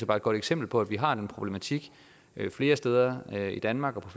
bare et godt eksempel på at vi har den problematik flere steder i danmark